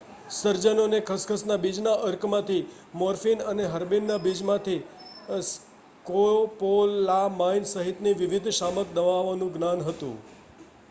સર્જનોને ખસખસના બીજના અર્કમાંથી મોર્ફિન અને હર્બેનના બીજમાંથી સ્કોપોલામાઇન સહિતની વિવિધ શામક દવાઓનું જ્ઞાન હતું